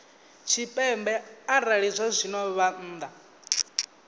tshipembe arali zwazwino vha nnḓa